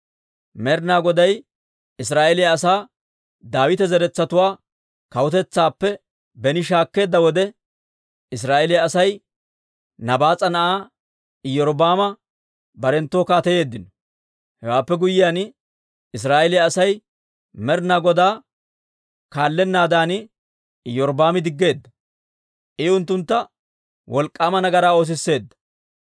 Med'ina Goday Israa'eeliyaa asaa Daawita zeretsatuwaa kawutetsaappe beni shaakkeedda wode, Israa'eeliyaa Asay Nabaas'a na'aa Iyorbbaama barenttoo kaateyeeddino. Hewaappe guyyiyaan, Israa'eeliyaa Asay Med'ina Godaa kaallennaadan Iyorbbaami diggeedda; I unttuntta wolk'k'aama nagaraa oosisseedda.